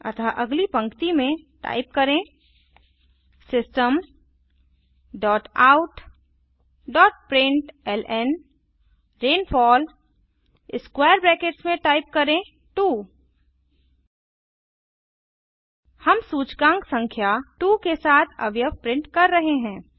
अतः अगली पंक्तिमें टाइप करें system dot out dot println rainfall square brackets में टाइप करें 2 हम सूचकांक संख्या 2 के साथ अवयव प्रिंट कर रहे हैं